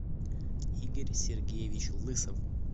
игорь сергеевич лысов